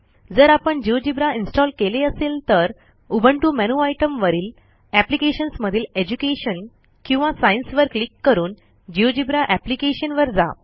जर आपण GeoGebra install केले असेल तर उबुंटू मेनू आयटम वरील एप्लिकेशन्स मधील एज्युकेशन किंवा सायन्स वर क्लिक करून जिओजेब्रा एप्लिकेशन वर जा